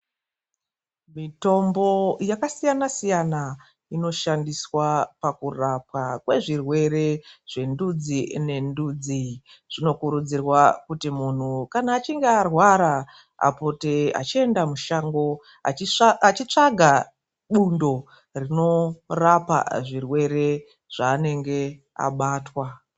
Mitombo yakasiyana siyana inoshandiswa pakurapwa kwezvirwere zvendudzi nendudzi. Zvinokururudzirwa kuti munthu achinge arwara, apote achienda mushango achitsvaga bundo rinorapa zvirwere zvaanenge abatwa.